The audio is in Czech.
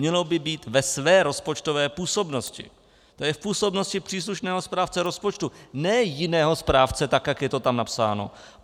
Mělo by být "ve své rozpočtové působnosti", to jest v působnosti příslušného správce rozpočtu, ne jiného správce, tak jak je to tam napsáno.